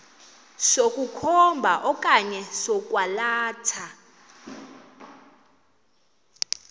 sokukhomba okanye sokwalatha